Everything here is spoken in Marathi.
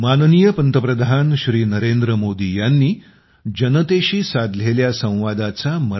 सोशल मिडियावर आम्हाला फॉलो करा